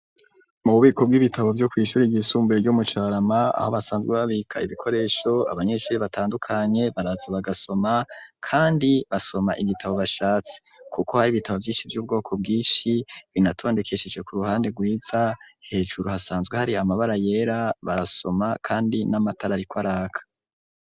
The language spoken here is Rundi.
Mu bubiko bw'ibitabo vyo kw'ishuri ryisumbuye ryo mu Carama aho basanzwe babika ibikoresho, abanyeshuri batandukanye baraza bagasoma kandi basoma ibitabo bashatse kuko hari ibitabo vyinshi vy'ubwoko bwinshi binatondekesheje ku ruhande gwiza hejuru hasanzwe hari amabara yera barasoma kandi n'amatara ariko araka.